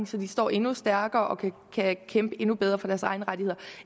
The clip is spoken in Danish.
så de står endnu stærkere og kan kæmpe endnu bedre for deres egne rettigheder